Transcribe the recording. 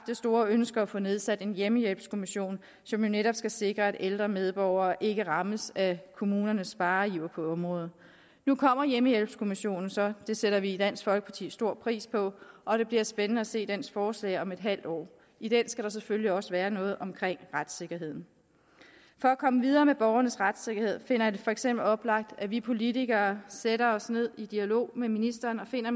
det store ønske at få nedsat en hjemmehjælpskommission som jo netop skal sikre at ældre medborgere ikke rammes af kommunernes spareiver på området nu kommer hjemmehjælpskommissionen så det sætter vi i dansk folkeparti stor pris på og det bliver spændende at se dens forslag om et halvt år i den skal der selvfølgelig også være noget om retssikkerheden for at komme videre med borgernes retssikkerhed finder jeg det for eksempel oplagt at vi politikere sætter os ned i dialog med ministeren og finder